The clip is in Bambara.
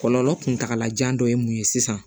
Kɔlɔlɔ kuntagalajan dɔ ye mun ye sisan